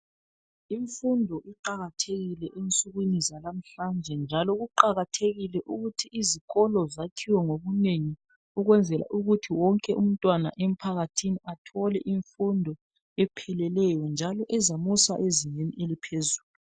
Imfundo iqakathekile ensukwini zalamhlanje, njalo kuqakathekile ukuthi izikolo zakhiwe ngobunengi ukwenzela ukuthi wonke umntwana emphakathini athole imfundo epheleleyo, njalo ezamusa ezingeni eliphezulu.